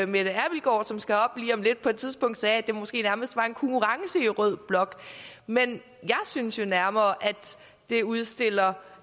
mette abildgaard som skal herop lige om lidt på et tidspunkt sagde at det måske nærmest var en konkurrence i rød blok men jeg synes nærmere at det udstiller